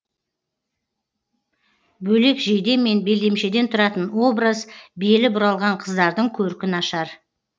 бөлек жейде мен белдемшеден тұратын образ белі бұралған қыздардың көркін ашар